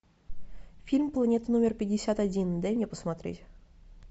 фильм планета номер пятьдесят один дай мне посмотреть